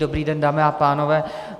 Dobrý den, dámy a pánové.